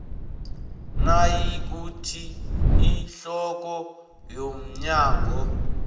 nayikuthi ihloko yomnyango